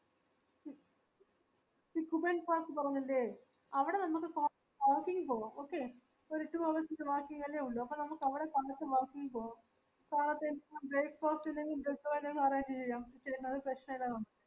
falls പറഞ്ഞില്ലേ അവടെ നമക് കോ walking പോവാം okay ഒരു two hours ൻറെ walking അല്ലെ ഉള്ളൂ അപ്പൊ നമക് അവിടെ കണ്ടിട്ട് walking പോവാം കലത്തെ breakfast ഉം എല്ലോ arrange cheyyam